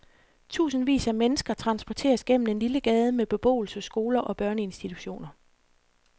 Tusindvis af mennesker transporteres gennem en lille gade med beboelse, skoler og børneinstitutioner.